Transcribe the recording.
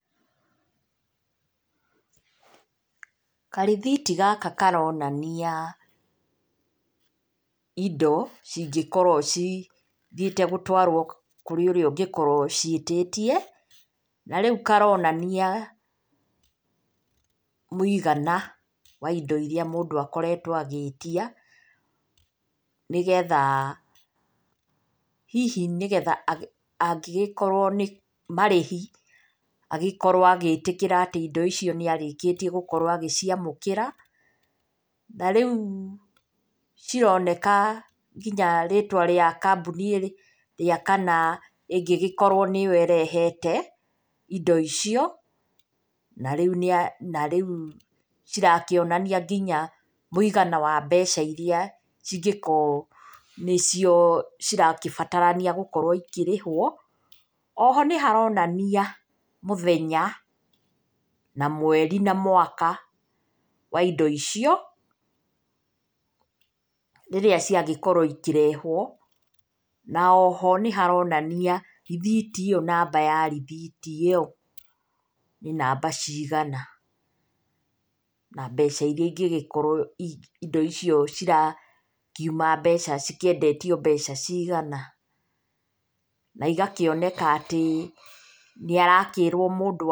Karĩthiti gaka karonania indo cingĩkorwo cithiĩte gũtwarwo kũrĩ ũrĩa ũngĩkorwo ũciĩtĩtie. Na rĩu karonania mũigana wa indo irĩa mũndũ akoretwo agĩtia hihi nĩgetha angĩgĩkorwo nĩ marĩhi, agĩkorwo agĩĩtĩkĩra atĩ indo icio nĩ arĩkĩtie gũkorwo agĩciamũkĩra. Na rĩu cironeka nginya rĩtwa rĩa kambuni ĩrĩa kana ĩngĩgĩkorwo nĩyo ĩrehete indo icio. Na rĩu cirakĩonania nginya mũigana wa mbeca irĩa cingĩkorwo nĩcio cirakĩbatarania gũkorwo ikĩrĩhwo. Oho nĩ haronania mũthenya na mweri na mwaka wa indo icio rĩrĩa ciagĩkorwo ikĩrehwo. Na oho nĩ haronania rithiti ĩyo namba ya rithiti ĩyo nĩ namba cigana na mbeca irĩa ingĩgĩkorwo indo icio cikĩendetio mbeca cigana. Na igakĩoneka atĩ nĩ arakĩrwo mũndũ.